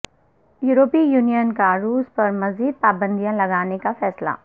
یورپی یونین کا روس پر مزید پابندیاں لگانے کا فیصلہ